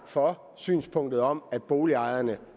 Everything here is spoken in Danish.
for synspunktet om at boligejerne